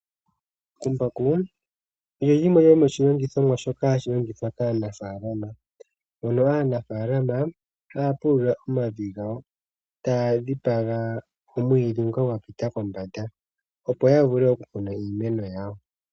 Embakumbaku olyo limwe lyomo shilandithwamo shimwe shoka hashi longithwa kaanafalama, mono aanafalama haya pulula omavi gawo, taya dhipaga omwiidhi ngoka gwa pita kombanda opo ya vule okukuna iimeno yawo.